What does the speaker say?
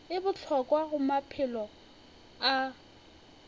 e bohlokwa go maphelo a